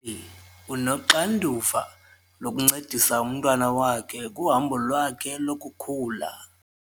unoxanduva lokuncedisa umntwana wakhe kuhambo lwakhe lokukhula.